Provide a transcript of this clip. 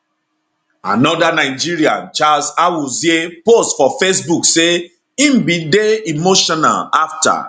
anoda nigerian charles awuzie post for facebook say im bin dey emotional afta